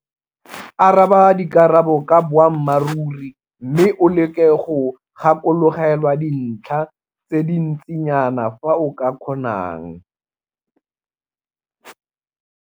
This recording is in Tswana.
Araba ka dikarabo ka boammaruri mme o leke go gakologelwa dintlha tse di ntsinyana ka fa o ka kgonang.